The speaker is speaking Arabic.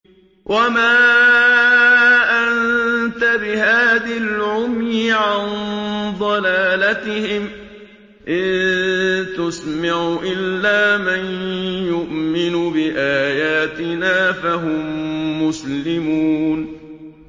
وَمَا أَنتَ بِهَادِي الْعُمْيِ عَن ضَلَالَتِهِمْ ۖ إِن تُسْمِعُ إِلَّا مَن يُؤْمِنُ بِآيَاتِنَا فَهُم مُّسْلِمُونَ